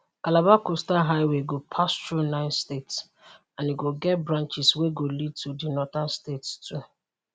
calabar coastal highway go pass thru 9 states and e go get branches wey go lead to di northern states too